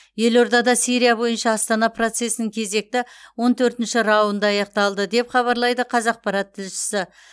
елордада сирия бойынша астана процесінің кезекті он төртінші раунды аяқталды деп хабарлайды қазақпарат тілшісі